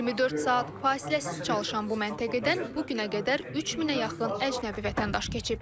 24 saat fasiləsiz çalışan bu məntəqədən bu günə qədər 3000-ə yaxın əcnəbi vətəndaş keçib.